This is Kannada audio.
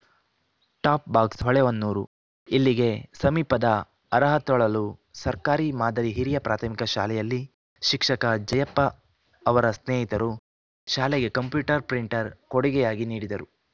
ಟಾಪ್‌ ಬಾಕ್ಸ್ ಹೊಳೆಹೊನ್ನೂರು ಇಲ್ಲಿಗೆ ಸಮೀಪದ ಅರಹತೊಳಲು ಸರ್ಕಾರಿ ಮಾದರಿ ಹಿರಿಯ ಪ್ರಾಥಮಿಕ ಶಾಲೆಯಲ್ಲಿ ಶಿಕ್ಷಕ ಜಯಪ್ಪ ಅವರ ಸ್ನೇಹಿತರು ಶಾಲೆಗೆ ಕಂಪ್ಯೂಟರ್‌ ಪ್ರಿಂಟರ್‌ ಕೊಡುಗೆಯಾಗಿ ನೀಡಿದರು